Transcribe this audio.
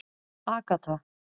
Agatha